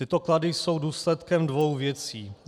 Tyto klady jsou důsledkem dvou věcí.